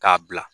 K'a bila